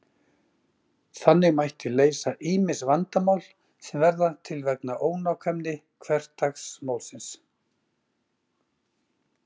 Þannig mætti leysa ýmis vandamál sem verða til vegna ónákvæmni hversdagsmálsins.